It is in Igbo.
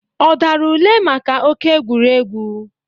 Ọ dara ule maka oke egwuregwu?